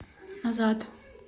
назад